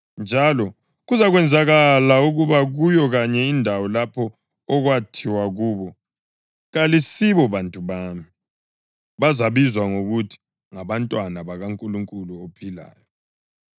njalo, “Kuzakwenzakala ukuba kuyo kanye indawo lapho okwathiwa kubo, ‘Kalisibo bantu bami,’ + 9.26 UHosiya 1.10 bazabizwa ngokuthi ‘ngabantwana bakaNkulunkulu ophilayo.’ ”